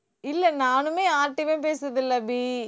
இல்லை நானுமே யார்கிட்டேயுமே பேசுறது இல்லை அபி